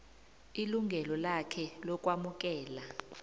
ilungelo lakhe lokwamukela